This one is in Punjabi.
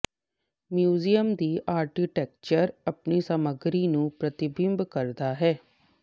ਮਿਊਜ਼ੀਅਮ ਦੀ ਆਰਕੀਟੈਕਚਰ ਆਪਣੀ ਸਮਗਰੀ ਨੂੰ ਪ੍ਰਤੀਬਿੰਬਤ ਕਰਦਾ ਹੈ